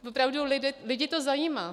Opravdu, lidi to zajímá.